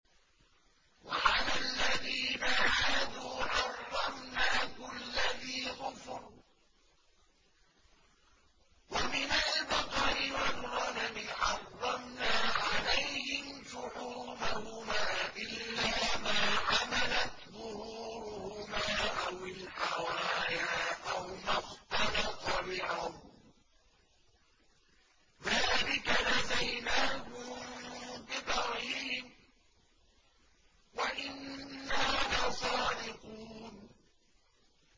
وَعَلَى الَّذِينَ هَادُوا حَرَّمْنَا كُلَّ ذِي ظُفُرٍ ۖ وَمِنَ الْبَقَرِ وَالْغَنَمِ حَرَّمْنَا عَلَيْهِمْ شُحُومَهُمَا إِلَّا مَا حَمَلَتْ ظُهُورُهُمَا أَوِ الْحَوَايَا أَوْ مَا اخْتَلَطَ بِعَظْمٍ ۚ ذَٰلِكَ جَزَيْنَاهُم بِبَغْيِهِمْ ۖ وَإِنَّا لَصَادِقُونَ